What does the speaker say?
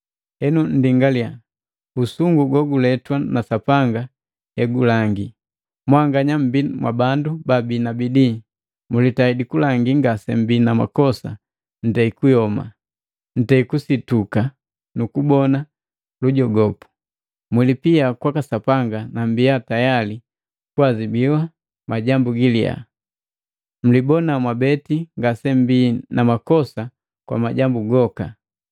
Henu nndingaliya usungu goguletwa na Sapanga hegulangi, mwanganya mbii mwa bandu babii na bidii, mulitaidi kulangi ngasemmbi na makosa ntei kuyoma, ntei kusituka nu kubona lujogopu. Mwilipia kwaka Sapanga na mmbi tayali kuazibu majambu giliyaa! Mlibona mwabeti ngasemmbi na makosa kwa majambu goka.